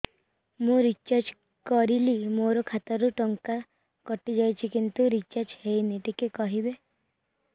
ମୁ ରିଚାର୍ଜ କରିଲି ମୋର ଖାତା ରୁ ଟଙ୍କା କଟି ଯାଇଛି କିନ୍ତୁ ରିଚାର୍ଜ ହେଇନି ଟିକେ କହିବେ